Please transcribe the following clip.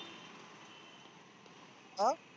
अं